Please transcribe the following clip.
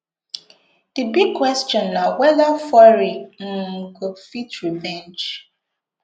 di big question na weda fury um go fit revenge